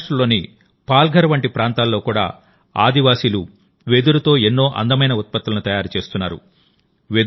మహారాష్ట్రలోని పాల్ఘర్ వంటి ప్రాంతాల్లో కూడా ఆదివాసీలు వెదురుతో ఎన్నో అందమైన ఉత్పత్తులను తయారు చేస్తున్నారు